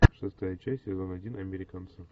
шестая часть сезон один американцы